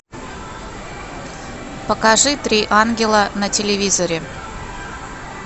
покажи три ангела на телевизоре